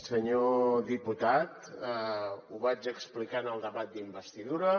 senyor diputat ho vaig explicar en el debat d’investidura